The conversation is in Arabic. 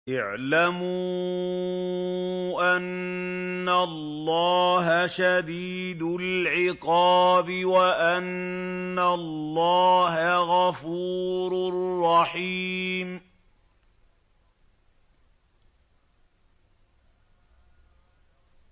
اعْلَمُوا أَنَّ اللَّهَ شَدِيدُ الْعِقَابِ وَأَنَّ اللَّهَ غَفُورٌ رَّحِيمٌ